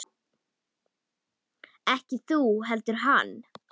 Ekki þú heldur hann.